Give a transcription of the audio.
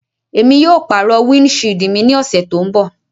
Emi yóò paro windṣiidi mi ni ọsẹ to nbọ